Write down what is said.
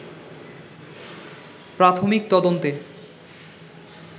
প্রাথমিক তদন্তে